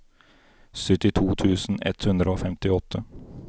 syttito tusen ett hundre og femtiåtte